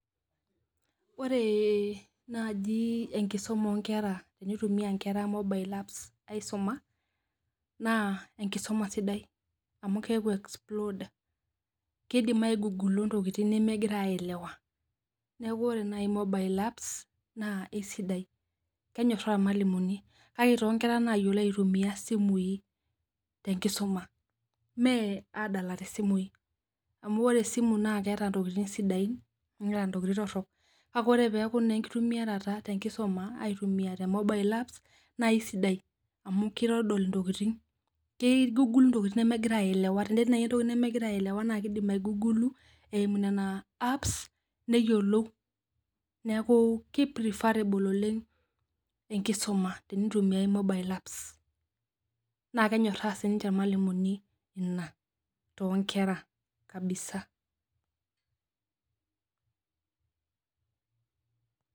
Wore naaji enkisuma oo nkera tenitumia inkera mobile apps aisuma. Naa enkisuma sidai amu keeku explode. Keidim aigugula intokitin nemekira aelewa. Neeku wore naaji mobile apps, naa eisidai, kenyorraa irmalimuni, kake toonkera naayiolo aitumia isimui tenkisuma. Mee aadalare isimui, amu wore esimu naa keeta intokitin sidain, neata intokitin torrok. Kake wore pee eaku naa enkitumiaroto tenkisuma aitumia te mobile apps naa eisidai, amu kitodol intokitin, keigugul intokitin nemekira aelewa, tenetii naaji entoki nemekira aelewa naa kiidim aigugulu, eimu niana apps neyiolou. Neeku ke preferable oleng' tenkisuma tenitumiyai mobile apps. Naa kenyorraa sininche irmalimuni inia toonkera kabisa.